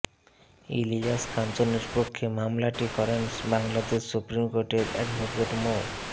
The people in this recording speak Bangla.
ইলিয়াস কাঞ্চনের পক্ষে মামলাটি করেন বাংলাদেশ সুপ্রিম কোর্টের অ্যাডভোকেট মো